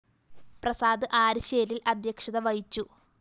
പ്രസാദ് ആരിശ്ശേരില്‍ അദ്ധ്യക്ഷത വഹിച്ചു